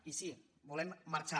i sí volem marxar